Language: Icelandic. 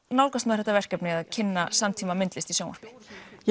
nálgast maður þetta verkefni að kynna samtímamyndlist í sjónvarpi